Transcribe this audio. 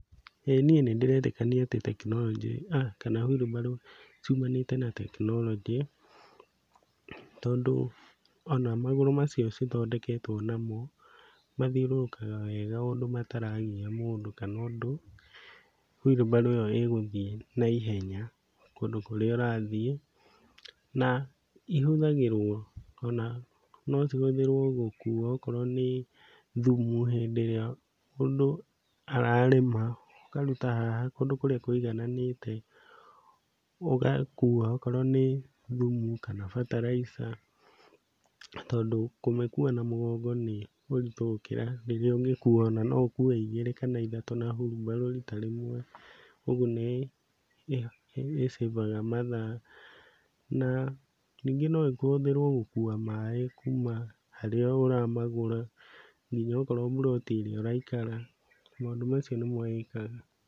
Ĩĩ niĩ nĩndĩretĩkania atĩ tekinoronjĩ kana wheelbarrow ciumanĩte na tekinoronjĩ. Tondũ ona magũrũ macio cithondeketwo namo mathiũrũrũkaga wega o ũndũ mataragia mũndũ kana ũndũ wheelbarrow ĩyo ĩgũthiĩ na ihenya kũndũ kũrĩa ũrathiĩ, na ihũthĩragũo ona no cihuthĩrwo gũkua okorwo nĩ thumu hindĩ ĩrĩa mũndũ ararĩma akaruta haha kũndũ kũrĩa kũigananĩte, ũgakua okorwo nĩ thumũ kana bataraica, na tondũ kũmĩkua na mũgongo nĩ ũritũ gũkĩra rĩrĩa ũngĩkua ona no ũkue igĩrĩ kana ithatũ na hurubarũ rita rĩmwe. Ũguo nĩ ĩ save-aga mathaa. Na ningĩ no ĩhũthĩrwo gũkua maĩ kuma harĩa ũramagũra nginya okorwo buroti ĩrĩa ũraikara. Maũndũ macio nĩmo ĩkaga.